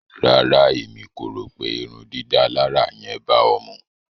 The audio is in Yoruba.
Rárá, Émi ko ro pe ìrundidàlarà yén ba ọ̀ mu.